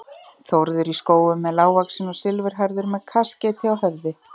Þórður í Skógum er lágvaxinn og silfurhærður með kaskeiti á höfði.